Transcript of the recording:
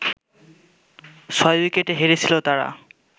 ছয় উইকেটে হেরেছিল তারা